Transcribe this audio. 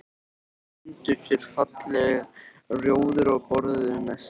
Þau fundu sér fallegt rjóður og borðuðu nestið.